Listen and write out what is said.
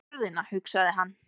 Fyrir jörðina, hugsaði hann.